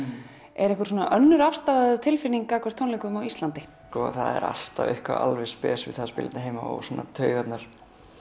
er einhver svona önnur afstaða eða tilfinning gagnvart tónleikum á Íslandi það er alltaf eitthvað alveg spes við það að spila hérna heima og svona taugarnar